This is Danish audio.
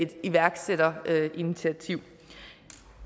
iværksætterinitiativ